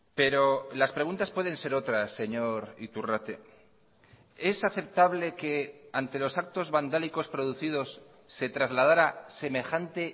pero las preguntas pueden ser otras señor iturrate es aceptable que ante los actos vandálicos producidos se trasladara semejante